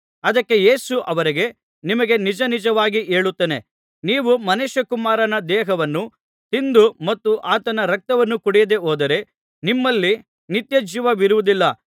ಅದಕ್ಕೆ ಯೇಸು ಅವರಿಗೆ ನಿಮಗೆ ನಿಜ ನಿಜವಾಗಿ ಹೇಳುತ್ತೇನೆ ನೀವು ಮನುಷ್ಯಕುಮಾರನ ದೇಹವನ್ನು ತಿಂದು ಮತ್ತು ಆತನ ರಕ್ತವನ್ನು ಕುಡಿಯದೆ ಹೋದರೆ ನಿಮ್ಮಲ್ಲಿ ನಿತ್ಯಜೀವವಿರುವುದಿಲ್ಲ